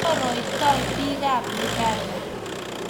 chorontoi bikab uganda